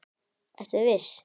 Ertu viss?